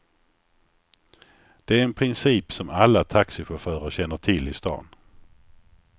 Det är en princip som alla taxichaufförer känner till i stan.